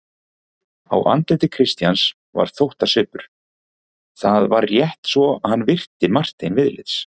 Á andliti Christians var þóttasvipur: það var rétt svo hann virti Martein viðlits.